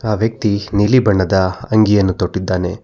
ಆ ವ್ಯಕ್ತಿ ನೀಲಿ ಬಣ್ಣದ ಅಂಗಿಯನ್ನು ತೊಟ್ಟಿದ್ದಾನೆ.